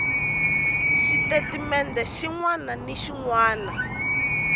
xitatimende xin wana na xin